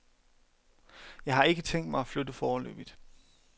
Jeg har ikke tænkt mig at flytte foreløbigt.